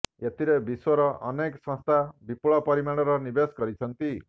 ଏଥିରେ ବିଶ୍ୱର ଅନେକ ସଂସ୍ଥା ବିପୁଳ ପରିମାଣର ନିବେଶ କରିଛନ୍ତି